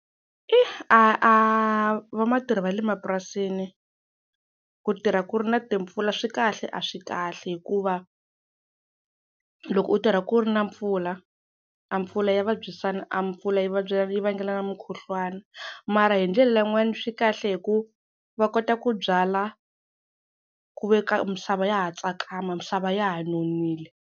I a a vamatirhi va le mapurasini ku tirha ku ri na timpfula swi kahle a swi kahle hikuva loko u tirha ku ri na mpfula a pfula ya vabyisana a mpfula yi yi vangela mukhuhlwana mara hi ndlela yin'wana swi kahle hi ku va kota ku byala ku ve ka misava ya ha tsakama misava ya ha nonile.